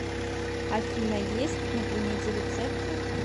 афина есть на примете рецепты